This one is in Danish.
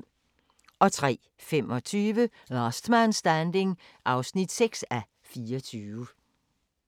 03:25: Last Man Standing (6:24)